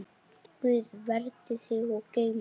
Guð verndi þig og geymi.